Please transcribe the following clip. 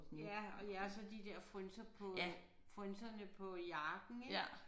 Ja og ja så de der frynser på øh frynserne på jakken ik